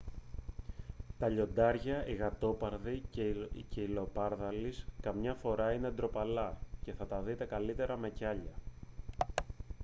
τα λιοντάρια οι γατόπαρδοι και οι λεοπαρδάλεις καμιά φορά είναι ντροπαλά και θα τα δείτε καλύτερα με κιάλια